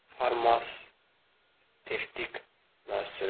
Farmasevtik müəssisələri?